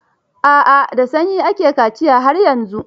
A'a, da sanyi ake kaciya har yanzu.